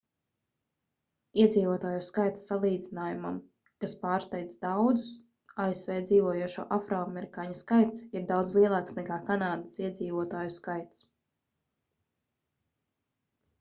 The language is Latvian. iedzīvotāju skaita salīdzinājumam kas pārsteidz daudzus asv dzīvojošo afroamerikāņu skaits ir daudz lielāks nekā kanādas iedzīvotāju skaits